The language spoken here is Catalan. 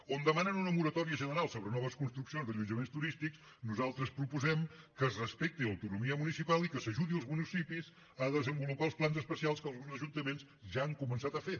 on demanen una moratòria general sobre noves construccions d’allotjaments turístics nosaltres proposem que es respecti l’autonomia municipal i que s’ajudi els municipis a desenvolupar els plans especials que alguns ajuntaments ja han començat a fer